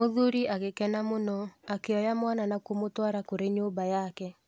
Mũthuri agĩkena mũno akĩoya mwana na kũmũtwara kũrĩ nyũmba yake.